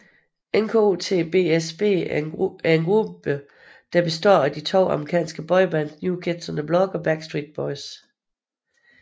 NKOTBSB er en gruppe bestående af de to amerikanske boybands New Kids on the Block og Backstreet Boys